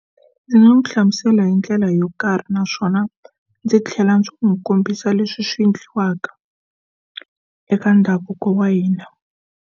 Ndzi nga n'wi hlamusela hi ndlela yo karhi naswona ndzi tlhela ndzi n'wi kombisa leswi swi endliwaka eka ndhavuko wa hina.